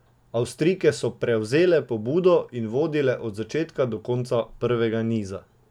Avstrijke so prevzele pobudo in vodile od začetka do konca prvega niza.